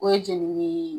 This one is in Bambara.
O ye jenini ye